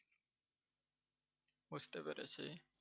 বুঝতে পেরেছি।